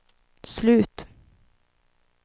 slut